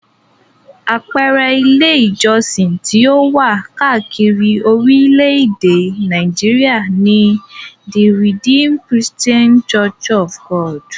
Àpẹẹrẹ Ilé-ìjọsìn tí ó wà káàkiri orílẹ̀-èdè Nàìjíríà ni; The Redeemed Christian Church of God.